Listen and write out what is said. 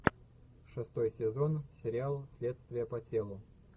шестой сезон сериал следствие по телу